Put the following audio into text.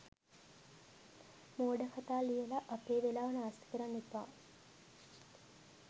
මෝඩ කතා ලියලා අපේ වෙලාව නාස්ති කරන්න එපා.